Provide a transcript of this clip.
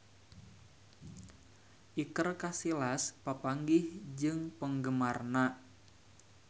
Iker Casillas papanggih jeung penggemarna